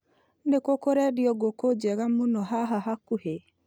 Nĩkũ kũrendio ngũkũ njega mũno haha hakuhĩ ?